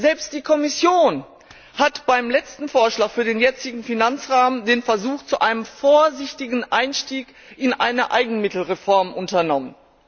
Selbst die Kommission hat beim letzten Vorschlag für den jetzigen Finanzrahmen den Versuch zu einem vorsichtigen Einstieg in eine Eigenmittelreform unternommen.